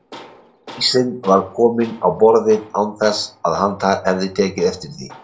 Ísinn var kominn á borðið án þess að hann hefði tekið eftir því.